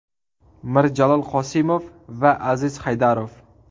Mirjalol Qosimov va Aziz Haydarov.